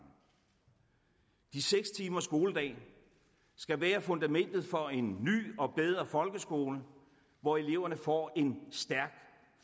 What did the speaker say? de seks timers skoledag skal være fundamentet for en ny og bedre folkeskole hvor eleverne får en stærk